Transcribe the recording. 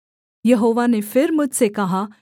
यहोवा ने फिर मुझसे कहा